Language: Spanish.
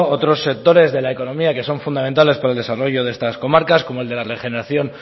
otros sectores de la economía que son fundamentales para el desarrollo de estas comarcas como el de la regeneración